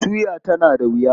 Tuya tana da wuya?